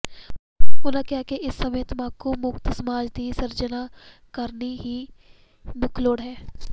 ਉਹਨਾਂ ਕਿਹਾ ਕਿ ਇਸ ਸਮੇਂ ਤੰਬਾਕੂ ਮੁਕਤ ਸਮਾਜ ਦੀ ਸਿਰਜਨਾ ਕਰਨੀ ਹੀ ਮੁੱਖ ਲੋੜ ਹੈ